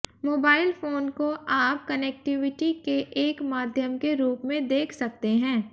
mobile phone को आप connectivity के एक माध्यम के रूप में देख सकते हैं